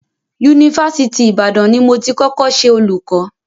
Yunifásitì Ìbàdàn ni mo ti kọ́kọ́ ṣe olùkọ́.